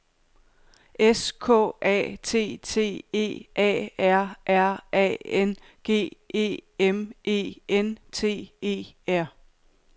S K A T T E A R R A N G E M E N T E R